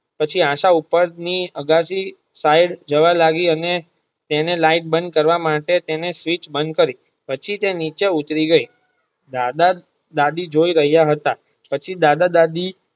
પછી આશા ઉપર ની આગાશી સાઈડ જવા લાગી અને તેને લાઈટ બંધ કરવા માટે તેને સ્વીટ્ચ બંધ કરી પછી તે નીચે ઉતારી ગઈ દાદા દાદી જોય રહિયા હતા પછી દાદા દાદી.